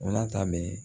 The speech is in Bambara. O la ta bɛ